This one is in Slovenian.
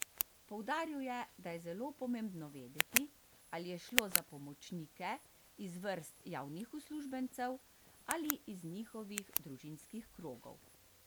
Poudaril je, da je zelo pomembno vedeti, ali je šlo za pomočnike iz vrst javnih uslužbencev ali iz njihovih družinskih krogov.